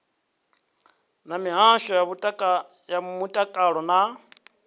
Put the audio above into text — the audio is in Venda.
na mihasho ya mutakalo na